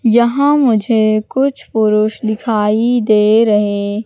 यहां मुझे कुछ पुरुष दिखाई दे रहे--